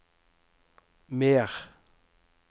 mer